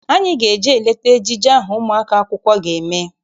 Anyị ga-eje leta ejije ahụ ụmụ akwụkwọ ahụ ga-eme.